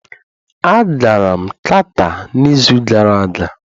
A gara m Qatar n'izu gara aga